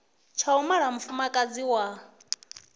tsha u mala mufumakadzi wa